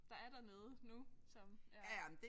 Der er dernede nu som ja